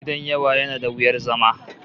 Gidan yawa yana da wuyar zama